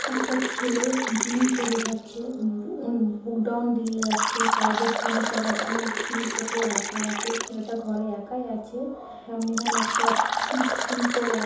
একটা ছেলে জিম করে যাচ্ছে বু-বুক ডন দিয়ে যাচ্ছে সাইড -এ জিম করার অনেক জিনিসপত্র রাখা আছে ছেলেটা ঘরে একাই আছে সামনে এখানে একটা উম পড়ে আছ--